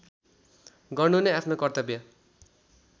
गर्नु नै आफ्नो कर्तव्य